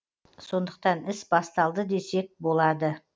сондықтан іс басталды десек болады